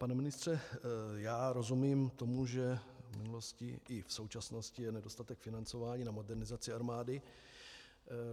Pane ministře, já rozumím tomu, že v minulosti i v současnosti je nedostatek financování na modernizaci armády.